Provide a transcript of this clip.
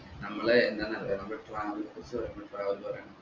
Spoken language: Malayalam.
നമ്മള് എന്താന്ന് അരിയിട്ട നമ്മൾ travel നെ കുറിച്ച് പറയുമ്പോ travel പറയണം okey